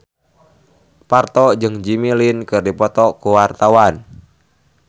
Parto jeung Jimmy Lin keur dipoto ku wartawan